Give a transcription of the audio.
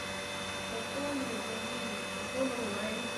пополни мобильный телефон онлайн